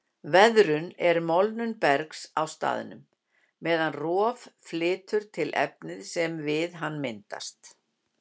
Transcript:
Veðrun er molnun bergs á staðnum, meðan rof flytur til efnið sem við hana myndast.